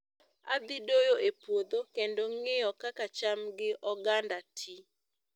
Adhi doyo e puodho, kendo ng'iyo kaka cham gi oganda ti